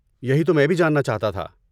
یہی تو میں بھی جاننا چاہتا تھا۔